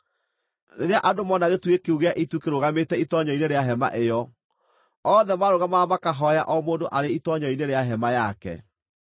Rĩrĩa andũ mona gĩtugĩ kĩu gĩa itu kĩrũgamĩte itoonyero-inĩ rĩa hema ĩyo, othe maarũgamaga makahooya o mũndũ arĩ itoonyero-inĩ rĩa hema yake.